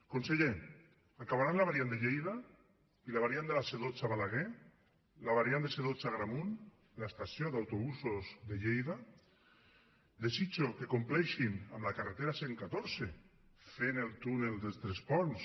conseller acabaran la variant de lleida i la variant de la c dotze a balaguer la variant de c dotze a agramunt l’estació d’autobusos de lleida desitjo que compleixin a la carretera cent i catorze fent el túnel de tres ponts